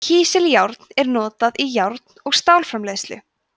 kísiljárn er notað í járn og stálframleiðslu